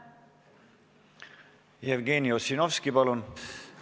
Jevgeni Ossinovski, palun!